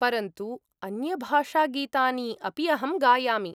परन्तु, अन्यभाषागीतानि अपि अहं गायामि।